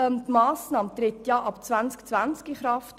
Diese Massnahme tritt ab dem Jahr 2020 in Kraft.